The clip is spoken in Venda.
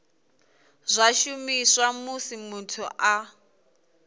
zwa shumiswa musi muthu a